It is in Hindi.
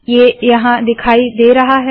ये यहाँ दिखाई दे रहा है